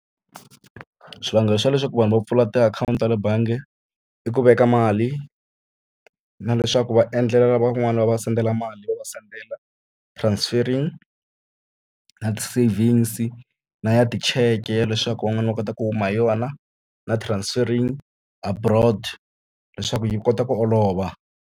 Swivangelo swa leswaku vanhu va pfula tiakhawunti ta le bangi i ku veka mali, na leswaku va endlela lavan'wani va va sendela mali, va va sendela transfering, na ti-savings na ya ticheke ya leswaku van'wana va kota ku huma hi yona. Na transfering abroad leswaku yi kota ku olova.